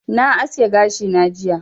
Na aske gashi na jiya